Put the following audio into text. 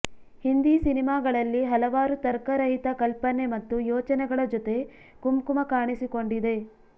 ಹಿಂದಿ ಸಿನೆಮಾಗಳಲ್ಲಿ ಹಲವಾರು ತರ್ಕ ರಹಿತ ಕಲ್ಪನೆ ಮತ್ತು ಯೋಚನೆಗಳ ಜೊತೆ ಕುಂಕುಮ ಕಾಣಿಸಿಕೊಂಡಿದೆ